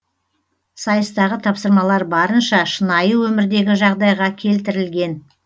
сайыстағы тапсырамалар барынша шынайы өмірдегі жағдайға келтірілген